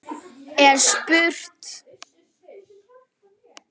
er spurt.